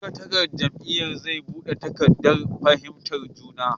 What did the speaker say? Sakataren jam’iyyar ne zai buga takardar fahimtar juna.